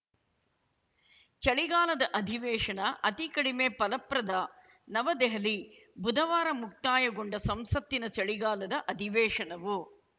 ಚಳಿಗಾಲದ ಅಧಿವೇಶನ ಅತಿ ಕಡಿಮೆ ಫಲಪ್ರದ ನವದೆಹಲಿ ಬುಧವಾರ ಮುಕ್ತಾಯಗೊಂಡ ಸಂಸತ್ತಿನ ಚಳಿಗಾಲದ ಅಧಿವೇಶನವು